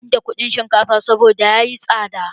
Ba ni da kuɗin shinkafa saboda yayi tsada.